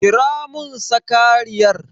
Kira mun sakariyar!